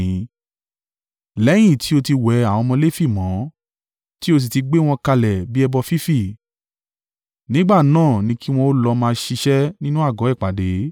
“Lẹ́yìn tí ó ti wẹ àwọn ọmọ Lefi mọ́, tí ó sì ti gbé wọn kalẹ̀ bí ẹbọ fífì nígbà náà ni kí wọn ó lọ máa ṣiṣẹ́ nínú àgọ́ ìpàdé.